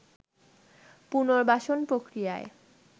পুনর্বাসন প্রক্রিয়ায়